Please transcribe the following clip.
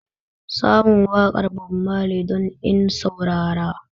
Samun waƙar Bob Mali don in saurara